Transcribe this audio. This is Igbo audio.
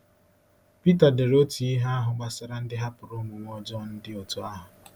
Pita dere otu ihe ahụ gbasara ndị hapụrụ omume ọjọọ dị otú ahụ.